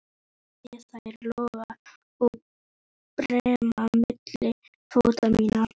Sé þær loga og brenna milli fóta minna.